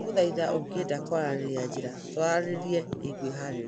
ndagũthaitha ũngĩenda kwaranĩria njira twaranĩrĩe nĩ ngwĩhaarĩria